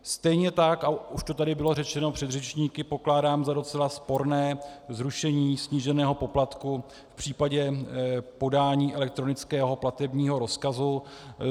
Stejně tak, a už to tady bylo řečeno předřečníky, pokládám za docela sporné zrušení sníženého poplatku v případě podání elektronického platebního rozkazu.